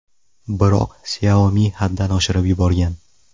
Biroq Xiaomi haddan oshirib yuborgan.